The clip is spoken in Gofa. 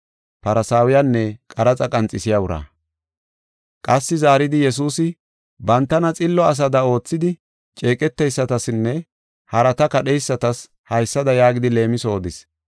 Qassi zaaridi, Yesuusi, bantana xillo asada oothidi ceeqeteysatasinne harata kadheysatas haysada yaagidi leemiso odis: